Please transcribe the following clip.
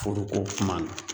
Furu ko kuma na